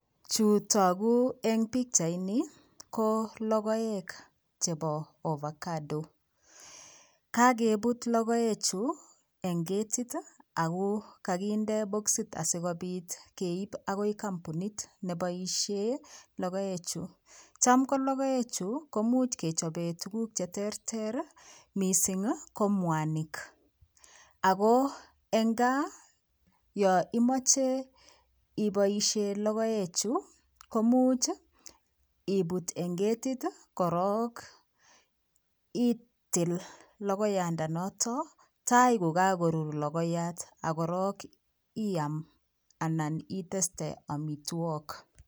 Chu tokuu eng pikchait nii ko logoek chebo ovacado kakebut logoe chu eng ketit Ako kakinde bokisit asikobit keib ago kampunit Neboishen logoek chuu Cham ko logoek chuu komuch kechobee tuguk che terter mising ko mwanik Ako eng kaa yo imoche iboishee logoek chuu ko much ibut eng ketit korok itil logoyandanoto tai ko kakorur logoiyat akorok iam anan iteste omitwokik